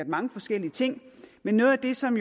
mange forskellige ting men noget af det som